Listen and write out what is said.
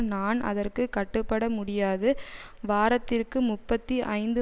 நான் அதற்கு கட்டுப்பட முடியாது வாரத்திற்கு முப்பத்தி ஐந்து